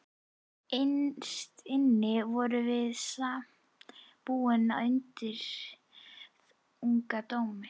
Innst inni vorum við samt búin undir þungan dóm.